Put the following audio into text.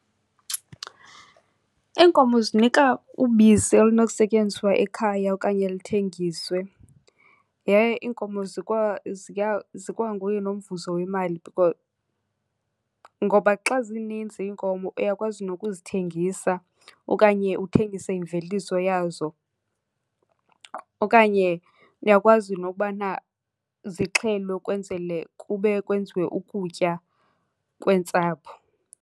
Iinkomo zinika ubisi olunokusetyenziswa ekhaya okanye luthengiswe yaye iinkomo zikwanguye nomvuzo wemali, ngoba xa zininzi iinkomo uyakwazi nokuzithengisa okanye uthengise imveliso yazo. Okanye uyakwazi nokubana zixhelwe kwenzele kube kwenziwe ukutya kweentsapho.